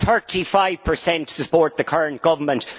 Thirty five percent support the current government.